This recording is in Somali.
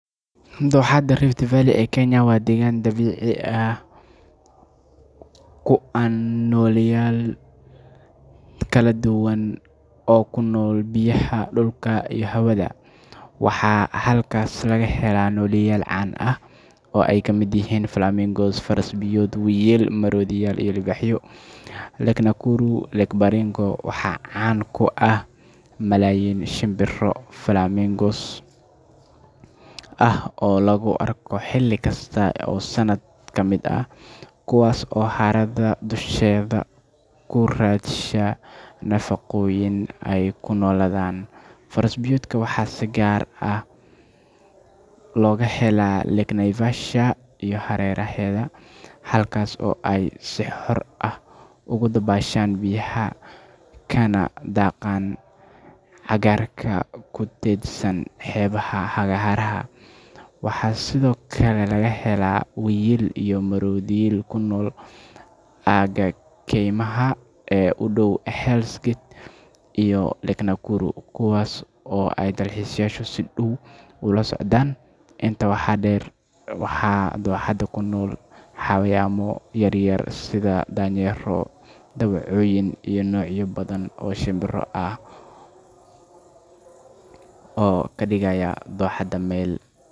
Dooxada Rift Valley ee Kenya waa deegaan dabiici ah oo hodan ku ah nooleyaal kala duwan oo ku nool biyaha, dhulka, iyo hawada. Waxaa halkaas laga helaa nooleyaal caan ah oo ay ka mid yihiin flamingos, faras-biyood, wiyil, maroodiyo, iyo libaaxyo. Lake Nakuru iyo Lake Bogoria waxaa caan ku ah malaayiin shimbiro flamingos ah oo la arko xilli kasta oo sanadka ka mid ah, kuwaas oo harada dusheeda ku raadsada nafaqooyin ay ku noolaadaan. Faras-biyoodka waxaa si gaar ah looga helaa Lake Naivasha iyo hareeraheeda, halkaas oo ay si xor ah ugu dabaashaan biyaha kana daaqaan cagaarka ku teedsan xeebaha harada. Waxaa sidoo kale laga helaa wiyil iyo maroodiyo ku nool aagga keymaha ee u dhow Hell’s Gate iyo Lake Nakuru, kuwaas oo ay dalxiisayaashu si dhow ula socdaan. Intaa waxaa dheer, waxaa dooxada ku nool xayawaano yaryar sida daanyeero, dawacooyin, iyo noocyo badan oo shimbiro ah oo ka dhigaya dooxada meel.